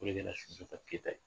O de bɛna Sunjata Keyita ye